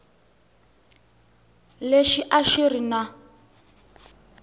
lexi a xi ri na